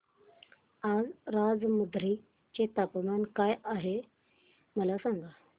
आज राजमुंद्री चे तापमान काय आहे मला सांगा